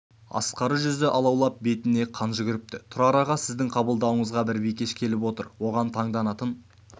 ақсары жүзі алаулап бетіне қан жүгіріпті тұрар аға сіздің қабылдауыңызға бір бикеш келіп отыр оған таңданатын